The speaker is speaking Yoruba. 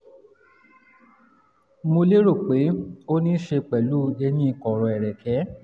mo lérò pé ó ní í ṣe pẹ̀lú eyín kọ̀rọ̀ ẹ̀rẹ̀kẹ́